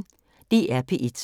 DR P1